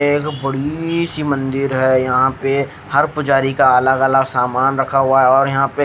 एक बड़ी सी मंदिर है यहाँ पर हर पुजारी का अलग अलग सामान रखा हुआ है और यहाँ पे--